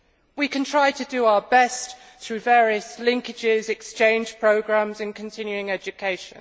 We can try to do our best through various linkages, exchange programmes and continuing education.